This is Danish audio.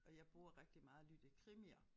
Og jeg bruger rigtig meget at lytte krimier